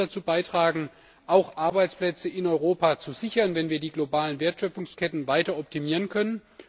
Das wird mit dazu beitragen, auch Arbeitsplätze in Europa zu sichern, wenn wir die globalen Wertschöpfungsketten weiter optimieren können.